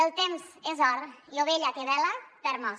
el temps és or i ovella que bela perd mos